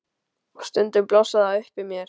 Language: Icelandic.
Og stundum blossar það upp í mér.